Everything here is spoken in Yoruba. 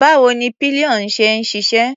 Báwo ni pillion ṣe ń ṣiṣẹ́?